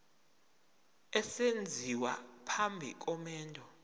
esenziwa phambi komendo